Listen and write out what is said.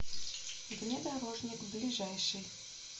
внедорожник ближайший